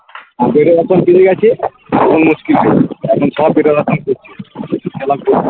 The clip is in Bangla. আর আছে মুশকিল এখন সব